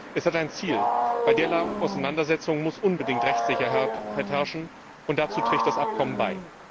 Es hat ein Ziel Bei derlei Auseinandersetzungen muss unbedingt Rechtssicherheit herrschen, und dazu trägt das Übereinkommen bei.